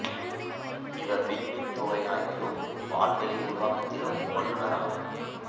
இவர் விண்மீன் தொகை ஆய்விலும் பால்வெளி உருவாக்கத்திலும் வல்லுனர் ஆவார்